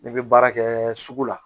Ne bɛ baara kɛ sugu la